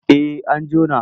En an jona.